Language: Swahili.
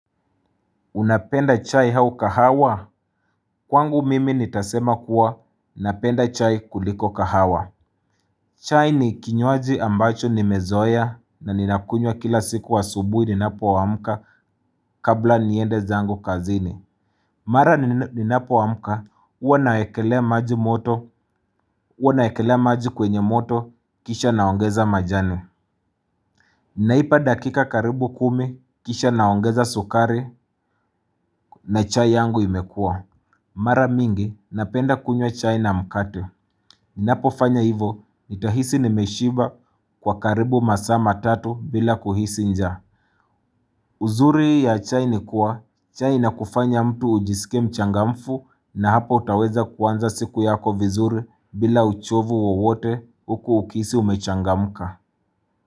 Unapenda chai au kahawa kwangu mimi nitasema kuwa napenda chai kuliko kahawa chai ni kinyuaji ambacho nimezoea na ninakunywa kila siku wa asubuhi ninapoamka kabla niende zangu kazini Mara ninapoamka huwa nawekelea maji moto huwa nawekelea maji kwenye moto kisha naongeza majani Naipa dakika karibu kumi kisha naongeza sukari na chai yangu imekua Mara mingi, napenda kunywa chai na mkate. Ninapofanya hivyo, nitahisi nimeshiba kwa karibu masaa matatu bila kuhisi njaa. Uzuri ya chai ni kuwa, chai inakufanya mtu ujisike mchangamfu na hapo utaweza kuanza siku yako vizuri bila uchovu wowote huku ukihisi umechangamka.